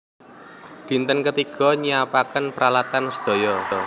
Dinten ketiga nyiapaken pralatan sedaya